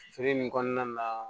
Feere nin kɔnɔna na